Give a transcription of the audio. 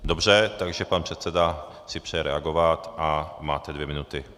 Dobře, takže pan předseda si přeje reagovat a máte dvě minuty.